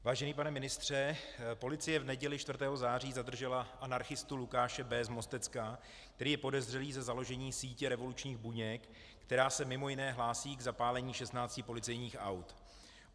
Vážený pane ministře, policie v neděli 4. září zadržela anarchistu Lukáše B. z Mostecka, který je podezřelý ze založení sítě revolučních buněk, která se mimo jiné hlásí k zapálení 16 policejních aut.